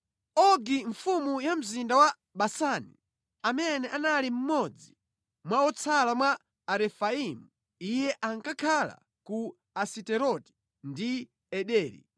Ogi mfumu ya mzinda wa Basani, amene anali mmodzi mwa otsala mwa Arefaimu. Iye ankakhala ku Asiteroti ndi Ederi.